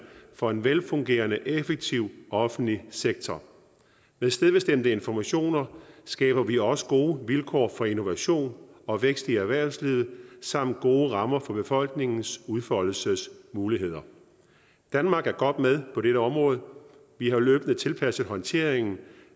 for en velfungerende og effektiv offentlig sektor med stedbestemte informationer skaber vi også gode vilkår for innovation og vækst i erhvervslivet samt gode rammer for befolkningens udfoldelsesmuligheder danmark er godt med på dette område vi har løbende tilpasset håndteringen